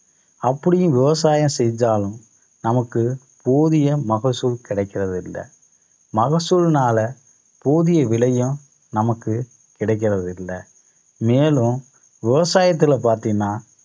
அப்படியும் விவசாயம் செஞ்சாலும் நமக்கு போதிய மகசூல் கிடக்கிறது இல்லை மகசூல்னால போதிய விலையும் நமக்கு கிடக்கிறது இல்லை. மேலும் விவசாயத்துல பாத்தீங்கன்னா